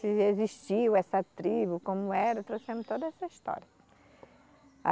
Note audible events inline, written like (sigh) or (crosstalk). Se existiu essa tribo, como era, trouxemos toda essa história. (unintelligible)